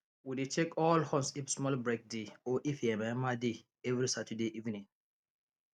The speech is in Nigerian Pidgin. we dey check all horns if small break dey or if yamayama dey every saturday evening